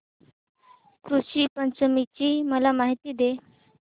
ऋषी पंचमी ची मला माहिती दे